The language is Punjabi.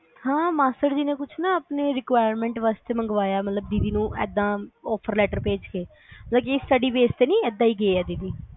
ਹਾਂ ਮਾਸੜ ਜੀ ਨੇ ਕੁਛ ਨਾ ਆਪਣੇ requirement ਵਾਸਤੇ ਮੰਗਵਾਇਆ ਮਤਲਬ ਦੀਦੀ ਨੂੰ ਏਦਾ offer letter ਭੇਜ ਕੇ ਮਤਲਬ study base ਤੇ ਨਹੀ ਏਦਾਂ ਈ ਗਏ ਆ ਦੀਦੀ